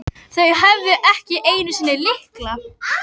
Þau höfðu ekki einu sinni lykla.